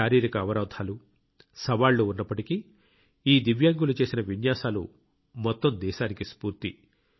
శారీరక అవరోధాలు సవాళ్లు ఉన్నప్పటికీ ఈ దివ్యాంగులు చేసిన విన్యాసాలు మొత్తం దేశానికి స్ఫూర్తి